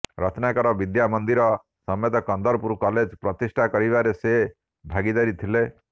ରତ୍ନାକର ବିଦ୍ୟାମନ୍ଦିର ସମେତ କନ୍ଦରପୁର କଲେଜ୍ ପ୍ରତିଷ୍ଠା କରିବାରେ ସେ ଭାଗୀଦାରି ଥିଲେ